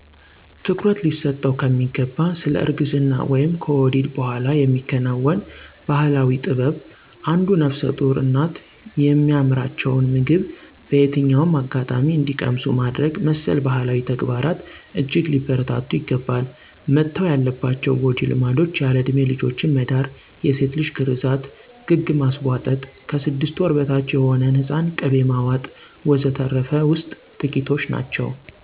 ትኩረት ሊሰጠው ከሚገባ ስለ እርግዝና/ከወሊድ በኋላ የሚከናወን ባህላዊ ጥበብ አንዱ ነፍሰጡር እናቶ የሚያምራቸውን ምግብ በየትኛውም አጋጣሚ እንዲቀምሱ ማድረግ መሰል ባህላዊ ተግባራት እጅግ ሊበረታቱ ይገባል። መተው ያለባቸው ጎጂ ልማዶች ያለእድሜ ልጆችን መዳር፣ የሴት ልጅ ግርዛት፣ ግግ ማስቧጠጥ፣ ከስድስት ወር በታች የሆነን ህፃን ቅቤ ማዋጥ፣ ወዘተርፈ ውስጥ ጥቂቶች ናቸው።